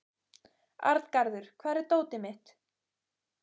Arngarður, hvar er dótið mitt?